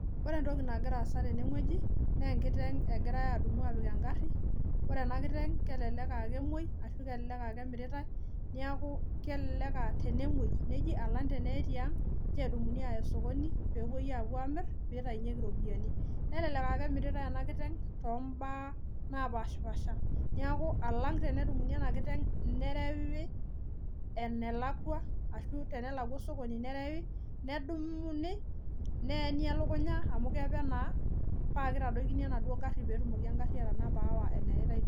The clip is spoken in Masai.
Ore entoki nagira aasa teneng'ueji naa enkiteng egirae adumu apik engarri ore ena kiteng kelelek aa kemuoi ashu kelelek aa kemiritae niaku kelelek uh tenemuoi neji alang teneye tiang nedumuni aaya osokoni peepuoi apuo amirr peitainyieki iropiyiani naa kelelek akemiritae ena kiteng tombaa napashipasha niaku alang tenedumuni ena kiteng nerewi enelakua ashu tenelakua osokoni nerewi nedumuni neyeni elukunya amu kepe naa paa kitadoikini enaduo garrii petumoki engarri atanapa aawa eneyaitae duo.